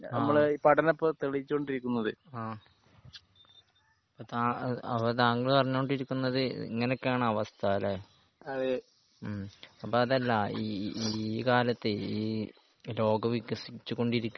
ആഹ് ആഹ് അത് അപ്പൊ താങ്കൾ പറഞ്ഞു കൊണ്ടിരിക്കുന്നത് ഇങ്ങനെ ഒക്കെ ആണ് അവസ്ഥ ല്ലേ? ഹ്മ് അപ്പൊ അതല്ല ഈ ഈ കാലത്തെയ് ഈ ലോകം വികസിച്ചു കൊണ്ടിരിക്കാണ്.